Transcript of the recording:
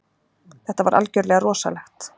Þetta var algjörlega rosalegt